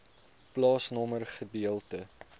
plaasnommer gedeelte